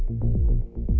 úr